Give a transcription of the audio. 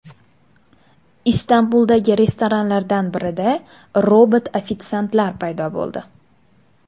Istanbuldagi restoranlardan birida robot ofitsiantlar paydo bo‘ldi .